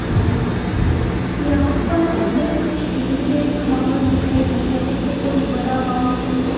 यहां पर ये कुछ भीड़ जैसा माहौल दिखाई दे रहा है जैसे कोई बड़ा गांव के अंदर--